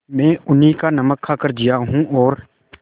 मैं उन्हीं का नमक खाकर जिया हूँ और